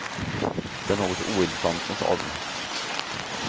Det är något ointressant med staden.